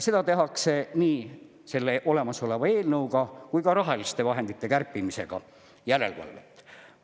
Seda tehakse nii selle olemasoleva eelnõuga kui ka rahaliste vahendite kärpimisega järelevalvelt.